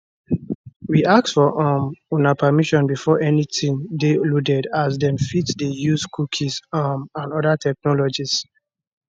we ask for um una permission before anytin dey loaded as dem fit dey use cookies um and oda technologies